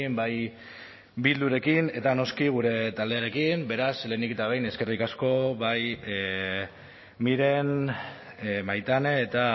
bai bildurekin eta noski gure taldearekin beraz lehenik eta behin eskerrik asko bai miren maitane eta